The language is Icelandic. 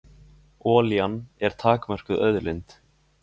Olían er takmörkuð auðlind.